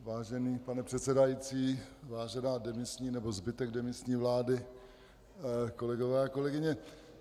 Vážený pane předsedající, vážená demisní, nebo zbytku demisní vlády, kolegové a kolegyně.